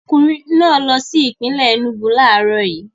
Ọkùnrin náà lọ sí ìpínlè Enúgu láàárọ̀ yìí.